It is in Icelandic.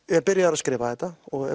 er byrjaður að skrifa þetta og